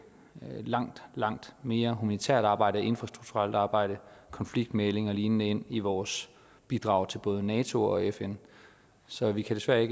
langt langt mere humanitært arbejde og infrastrukturelt arbejde konfliktmægling og lignende ind i vores bidrag til både nato og fn så vi kan desværre